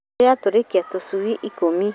Ngũkũyatathũirie tũcui ikũmi